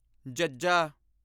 ਜ਼ੱਜ਼ਾ